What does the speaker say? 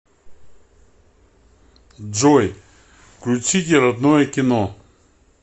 джой включите родное кино